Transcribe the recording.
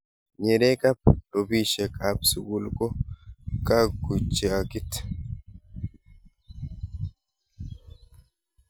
nyeree kab rupishek ab sukul ko kakuchakit